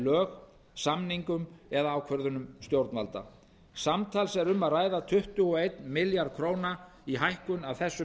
lög samningum eða ákvörðunum ríkisstjórnar samtals er um að ræða um tuttugu og einn milljarð króna í hækkun af þessum